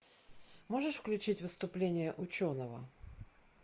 можешь включить выступление ученого